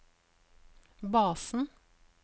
basen